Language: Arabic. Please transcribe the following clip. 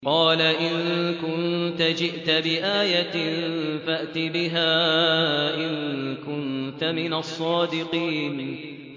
قَالَ إِن كُنتَ جِئْتَ بِآيَةٍ فَأْتِ بِهَا إِن كُنتَ مِنَ الصَّادِقِينَ